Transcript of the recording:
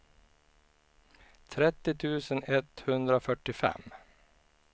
trettio tusen etthundrafyrtiofem